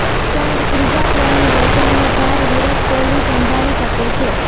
ત્યાં જ ત્રીજા ક્રમની બેટિંગનો ભાર વિરાટ કોહલી સંભાળી શકે છે